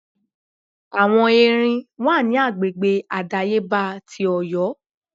Àwọn Erin wà ní agbègbè àdáyébá ti Ọ̀yọ́.